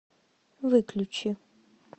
выключи